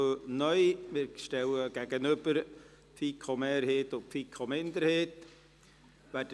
Wir stellen den Antrag der FiKo-Mehrheit dem Antrag der FiKo-Minderheit gegenüber.